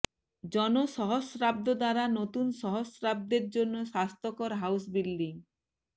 জন সহস্রাব্দ দ্বারা নতুন সহস্রাব্দের জন্য স্বাস্থ্যকর হাউস বিল্ডিং